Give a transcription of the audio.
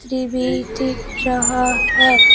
ये भी दिख रहा है।